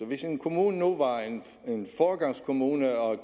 hvis en kommune nu var en foregangskommune og